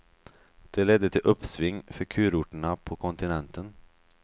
Det ledde till uppsving för kurorterna på kontinenten.